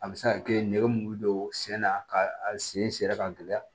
A bɛ se ka kɛ nɛgɛ mulu bɛ don sen na ka a sen sera ka gɛlɛya